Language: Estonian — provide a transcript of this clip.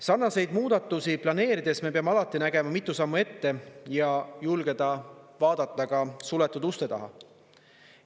Sarnaseid muudatusi planeerides me peame alati nägema mitu sammu ette ja julgeda vaadata ka suletud uste taha.